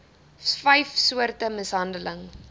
vyf soorte mishandeling